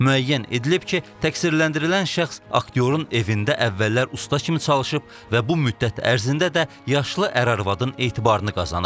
Müəyyən edilib ki, təqsirləndirilən şəxs aktyorun evində əvvəllər usta kimi çalışıb və bu müddət ərzində də yaşlı ər-arvadın etibarını qazanıb.